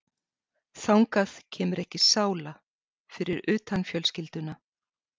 Þangað kemur ekki sála, fyrir utan fjölskylduna.